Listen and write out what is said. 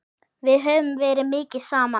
Við höfum verið mikið saman.